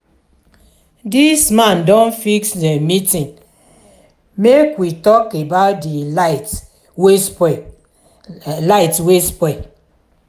di man don fix meeting make we tok about di light wey spoil. light wey spoil.